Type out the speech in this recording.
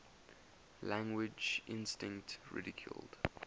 language instinct ridiculed